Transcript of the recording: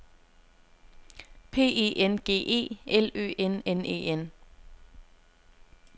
P E N G E L Ø N N E N